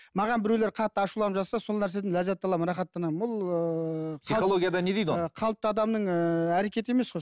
маған біреулер қатты ашуланып жатса сол нәрседен ләззат аламын рахаттанамын бұл ыыы қалыпты адамның ыыы әрекеті емес қой